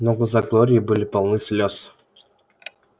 но глаза глории были полны слёз